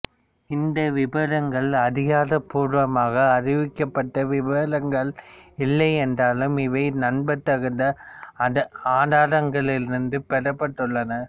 இந்த விபரங்கள் அதிகாரப்பூர்வமாக அறிவிக்கப்பட்ட விபரங்கள் இல்லை என்றாலும் இவை நம்பத்தகுந்த ஆதாரங்களிலிருந்து பெறப்பட்டுள்ளன